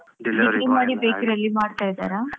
Degree ಮಾಡಿ bakery ಯಲ್ಲಿ ಮಾಡ್ತಾ ಇದ್ದಾರಾ?